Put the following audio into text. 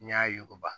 N'i y'a yuguba